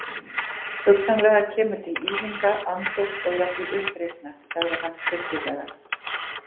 Hugsanlega kemur til ýfinga, andófs og jafnvel uppreisna, sagði hann stillilega.